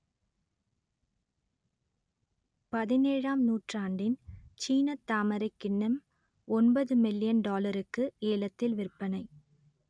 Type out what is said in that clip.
பதினேழாம் நூற்றாண்டின் சீனத் தாமரைக் கிண்ணம் ஒன்பது மில்லியன் டாலருக்கு ஏலத்தில் விற்பனை